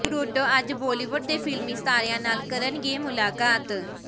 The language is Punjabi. ਟਰੂਡੋ ਅੱਜ ਬਾਲੀਵੁੱਡ ਦੇ ਫ਼ਿਲਮੀ ਸਿਤਾਰਿਆਂ ਨਾਲ ਕਰਨਗੇ ਮੁਲਾਕਾਤ